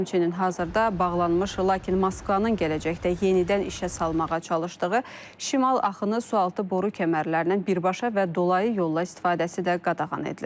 Həmçinin hazırda bağlanmış lakin Moskvanın gələcəkdə yenidən işə salmağa çalışdığı şimal axını sualtı boru kəmərlərindən birbaşa və dolayı yolla istifadəsi də qadağan edilir.